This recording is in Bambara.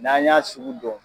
ƝN'an y'a sugu dɔn